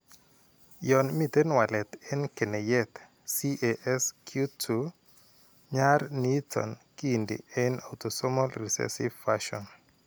Yon miiten walet en keneyeek CASQ2, nyar niiton kiinti en autosomal recessive fashion.